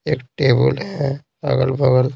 एक टेबल है अगल-बगल--